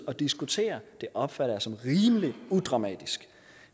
og diskutere det opfatter jeg som rimelig udramatisk